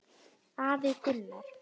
Afi Gunnar.